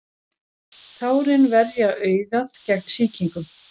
tárin verja augað gegn sýkingum